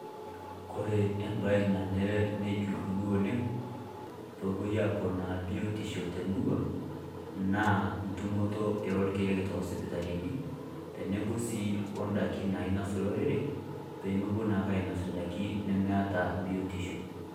Kore ebae nenaree najuruni oleng pee opoi aponaa biotisho te murrua naa tumutoo e lkiek te sipitalini teneboo sii o ndaakini ainos lorere pee emopoo naake ainos ndaaki nimeeta biotisho.